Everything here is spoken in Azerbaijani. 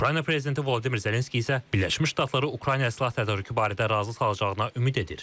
Ukrayna prezidenti Volodimir Zelenski isə Birləşmiş Ştatları Ukraynaya silah tədarükü barədə razı salacağına ümid edir.